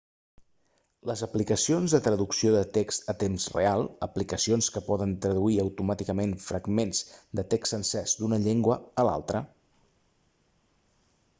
les aplicacions de traducció de text a temps real aplicacions que poden traduir automàticament fragments de text sencers d'una llengua a una altra